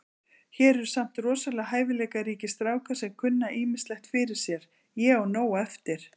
Hér eru samt rosalega hæfileikaríkir strákar sem kunna ýmislegt fyrir sér. Ég á nóg eftir.